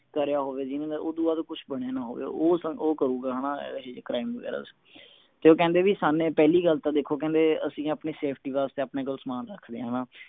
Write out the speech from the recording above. ਕਰਿਆ ਹੋਵੇ ਜਿਹਨੇ ਤੇ ਓਦੂੰ ਬਾਅਦ ਕੁਸ਼ ਬਣਿਆ ਨਾ ਹੋਵੇ ਉਹ ਉਹ ਕਰੂਗਾ ਹਣਾ ਇਹ crime ਵਗੈਰਾ ਤੇ ਉਹ ਕਹਿੰਦੇ ਵੀ ਸਾਨੂ ਪਹਿਲੀ ਗੱਲ ਤਾਂ ਦੇਖੋ ਕਹਿੰਦੇ ਅਸੀਂ ਆਪਣੀ safety ਵਾਸਤੇ ਆਪਣੇ ਕੋਲ ਸਾਮਾਨ ਰੱਖਦੇ ਆ ਹਣਾ